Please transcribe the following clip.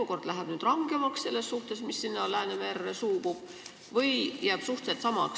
Kas Läänemerre suubuva vee seisukohalt jääb olukord suhteliselt samaks või kuidas?